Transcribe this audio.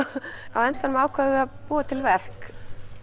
á endanum ákváðum við að búa til verk